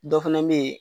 Dɔ fana bɛ yen